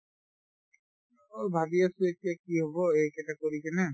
অ, ভাবি আছো এতিয়া কি হব এইকেইটা কৰি কিনে